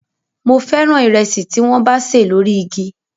Mo fẹ́ràn ìrẹsì tí wọ́n bá ṣè lórí igi